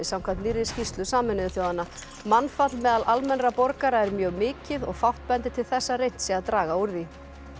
samkvæmt nýrri skýrslu Sameinuðu þjóðanna mannfall meðal almennra borgara er mjög mikið og fátt bendir til þess að reynt sé að draga úr því